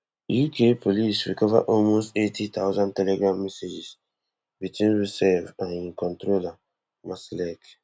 uk police recover almost eighty thousand telegram messages between roussev and him controller marsalek